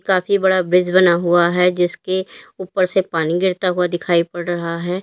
काफी बड़ा ब्रिज बना हुआ है जिसके ऊपर से पानी गिरता हुआ दिखाई पड़ रहा है।